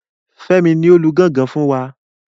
Fẹ́mi ni o lu gangan fún wa.